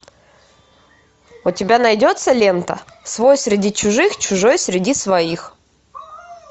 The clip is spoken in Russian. у тебя найдется лента свой среди чужих чужой среди своих